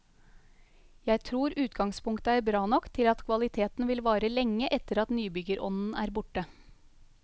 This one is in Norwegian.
Jeg tror utgangspunktet er bra nok til at kvaliteten vil vare lenge etter at nybyggerånden er borte.